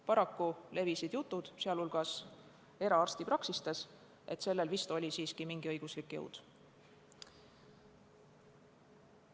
Paraku levisid jutud, sh eraarstipraksistes, et sellel vist siiski on mingisugune õiguslik jõud.